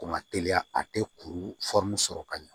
Ko ma teliya a tɛ kuru sɔrɔ ka ɲɛ